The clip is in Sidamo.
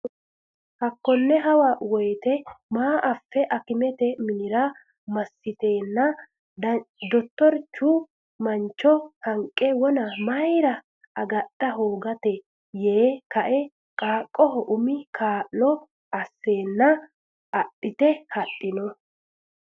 Hakone hawa woyte ama afe akimete minira masitenna dottorichu manicho hanqe wona mayra agadha hogota yee kae qaaqqoho umi kaa lo aseena adhite hadhino.